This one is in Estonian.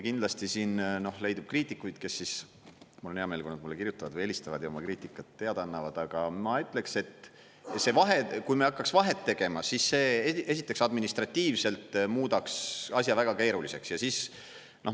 Kindlasti leidub kriitikuid – mul on hea meel, kui nad kirjutavad või helistavad ja oma kriitikast teada annavad –, aga ma ütleksin, et kui me hakkaks vahet tegema, siis see esiteks administratiivselt muudaks asja väga keeruliseks.